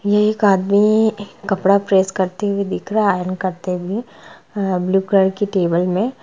ये एक आदमी कपडा प्रेस करते हुए दिख रहा है आयरन करते हुए अहः ब्लू कलर की टेबल में--